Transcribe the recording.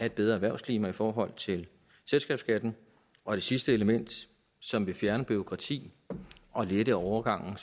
et bedre erhvervsklima i forhold til selskabsskatten og det sidste element som vil fjerne bureaukrati og lette overgangen